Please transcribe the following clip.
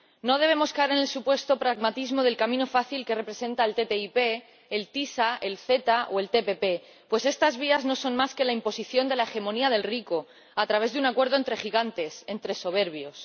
No debemos caer en el supuesto pragmatismo del camino fácil que representan la ATCI, el ACS, el AECG o la ATP, pues estas vías no son más que la imposición de la hegemonía del rico a través de un acuerdo entre gigantes, entre soberbios.